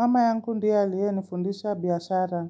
Mama yangu ndiye aliyenifundisha biashara.